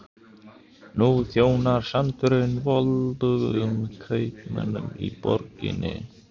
Nú þjónar sandurinn voldugum kaupmönnunum í borginni.